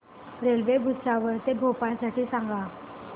railway Bhusawal ते भोपाळ साठी सांगा